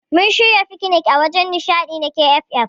Mun shirya fikinik a wajen nishadi na KFF.